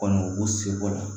Kɔni u b'u seko la